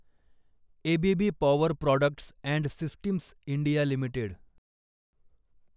ABB power products and systems India limited